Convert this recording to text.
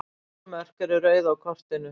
Þessi mörk eru rauð á kortinu.